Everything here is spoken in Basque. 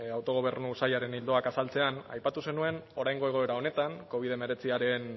autogobernu sailaren ildoak azaltzean aipatu zenuen oraingo egoera honetan covid hemeretziaren